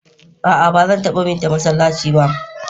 a'a bazan taba bi ta masallaci ba